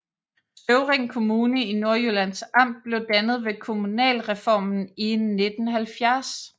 Støvring Kommune i Nordjyllands Amt blev dannet ved kommunalreformen i 1970